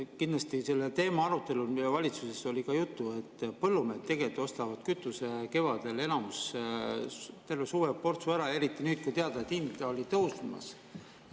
Kindlasti oli selle teema arutelul valitsuses juttu, et enamik põllumehi ostab tegelikult kevadel terveks suveks kütuseportsu ära, eriti nüüd, kui on teada, et hind tõuseb.